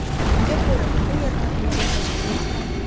Unga ko‘ra, bu yerda muzey tashkil etiladi.